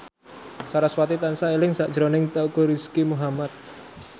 sarasvati tansah eling sakjroning Teuku Rizky Muhammad